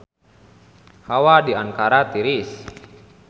Hawa di Ankara tiris